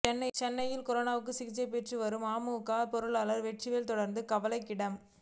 சென்னையில் கொரோனாவுக்கு சிகிச்சை பெற்று வரும் அமமுக பொருளாளர் வெற்றிவேல் தொடர்ந்து கவலைக்கிடம்